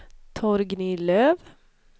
Torgny Löf